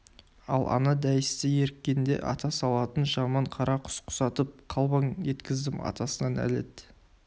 ал ана дәйісті еріккенде ата салатын жаман қарақұс құсатып қалбаң еткіздім атасына нәлет